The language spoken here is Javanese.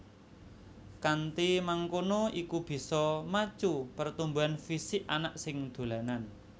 Kanthi mangkono iku bisa macu pertumbuhan fisik anak sing dolanan